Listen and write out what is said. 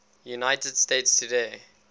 united states today